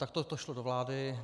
Takto to šlo do vlády.